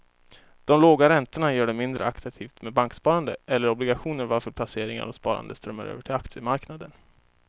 De låga räntorna gör det mindre attraktivt med banksparande eller obligationer varför placeringar och sparande strömmar över till aktiemarknaden.